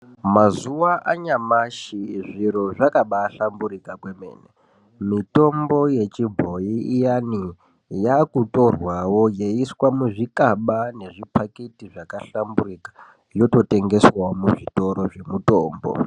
Mazuva anyamashi zviro zvakabahlamburika kwemene. Mitombo yechibhoyi iyani yakutorwawo yeiiswa muzvikaba nezvipakiti zvakahlamburika yototengeswawo muzvitoro zvemitombo.